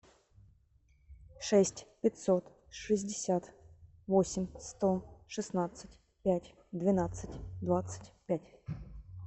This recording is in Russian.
шесть пятьсот шестьдесят восемь сто шестнадцать пять двенадцать двадцать пять